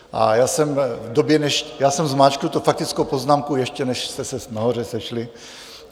A já jsem zmáčkl tu faktickou poznámku, ještě než jste se nahoře sešli.